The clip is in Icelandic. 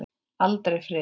Aldrei friður.